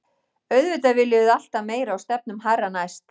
Auðvitað viljum við alltaf meira og stefnum hærra næst.